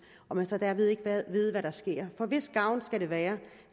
og man så derved ikke ved hvad der sker hvis gavn skal det være